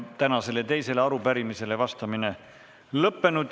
Tänasele teisele arupärimisele vastamine on lõppenud.